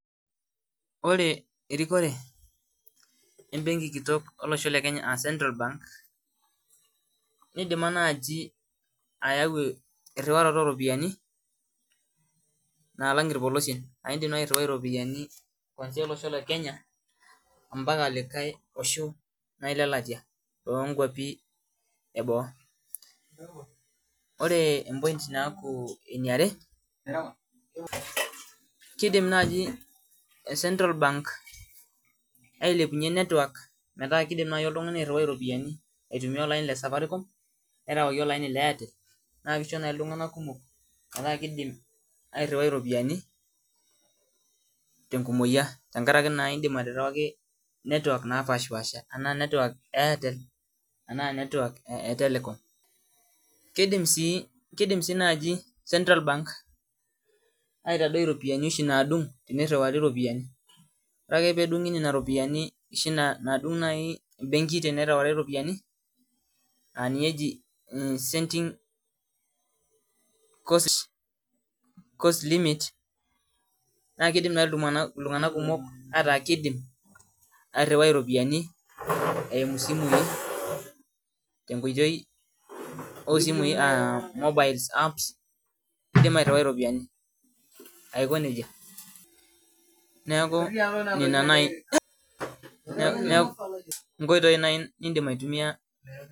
Ore erikore embenki kitok olosho le kenya uh central bank nidima naaji ayau erriwaroto oropiani naalang irpolosien aindim naai airriwai iropiani kwanzia olosho le kenya mpaka likae osho naai lelatia lonkuapi eboo ore em point naaku eniare kidim naaji central bank ailepunyie network metaa kidim naaji oltung'ani airriwai iropiyiani aitumia olaini le safaricom nerewaki olaini le airtel naa kisho naai iltung'anak kumok metaa kidim airriwai iropiyiani tenkumoyia tenkarake naindim aterewaki network naapashipasha enaa network e airtel enaa network e telcom kidim sii kidim sii naaji central bank aitadoi iropiani oshi naadung tenirriwari iropiani ore ake peedung'i nena ropiani oshi naadung naai embenki tenerewari iropiani aninye eji sending cost, cost limit naa kidim naaji iltung'anak kumok ataa kidim airriwai iropiani eimu isimui tenkoitoi osimui uh mobile apps kidim airriwai iropiani aiko nejia niaku nena naai niaku inkoitoi naai nindim aitumia.